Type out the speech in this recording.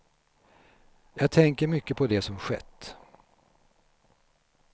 Jag tänker mycket på det som skett.